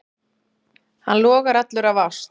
Hann logar allur af ást.